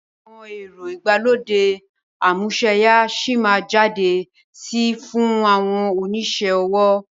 Àwọn ẹ̀rọ ìgbàlódé amúsẹ́ya síí má jáde sí fún àwọn onisẹ́ ọwọ́